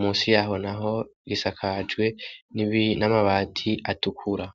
musi yaho naho gisakajwe n'amabati atukura.